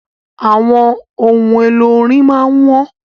Àwọn ohun èlò orin máà ń wọ́n.